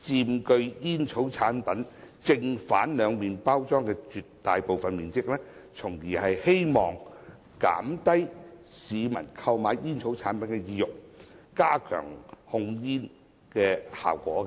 佔煙草產品正、背兩面包裝的絕大部分面積，從而希望減低市民購買煙草產品的意欲，加強控煙效果。